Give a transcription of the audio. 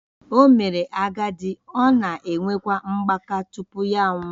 O mere agadi, ọ na-enwekwa mgbaka tupu ya anwụọ